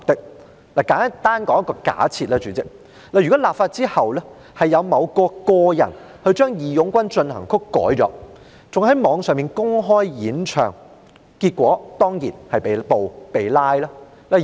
讓我簡單作一個假設，如果立法後，某人將"義勇軍進行曲"修改，甚至在互聯網上公開演唱，結果當然是被拘捕。